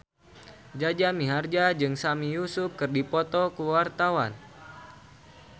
Jaja Mihardja jeung Sami Yusuf keur dipoto ku wartawan